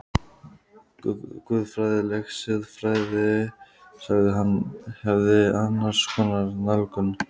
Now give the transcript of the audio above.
Guðfræðileg siðfræði, sagði hann, hefði annars konar nálgun.